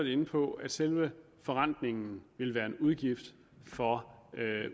inde på at selve forrentningen vil være en udgift for